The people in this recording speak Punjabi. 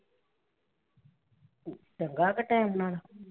ਚੰਗਾ ਹੈ ਟਾਇਮ ਨਾਲ਼।